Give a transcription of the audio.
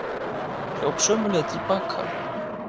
Hljóp sömu leið til baka.